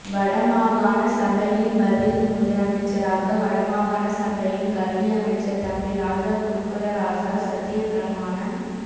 வடமாகாண சபையின் பதில் முதலமைச்சராக வடமாகாண சபையின் கல்வியமைச்சர் தம்பி ராஜா குருகுலராசா சத்தியப்பிரமாணம்